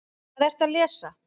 Hvað ertu að lesa?